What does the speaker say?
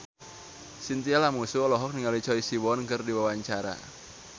Chintya Lamusu olohok ningali Choi Siwon keur diwawancara